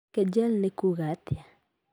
Kegel nĩ kuũga atĩa?